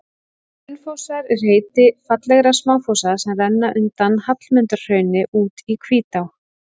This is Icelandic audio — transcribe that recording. Hraunfossar er heiti fallegra smáfossa sem renna undan Hallmundarhrauni út í Hvítá.